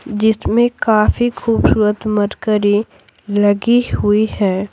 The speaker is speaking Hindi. जिसमें काफी खूबसूरत मरकरी लगी हुई है।